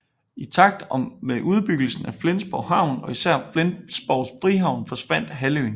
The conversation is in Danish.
I takt med udbyggelsen af Flensborg Havn og især af Flensborgs frihavn forsvandt halvøen